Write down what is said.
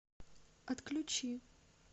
отключи